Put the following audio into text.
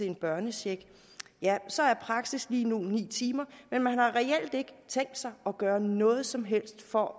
en børnecheck ja så er praksis lige nu ni timer men man har reelt ikke tænkt sig at gøre noget som helst for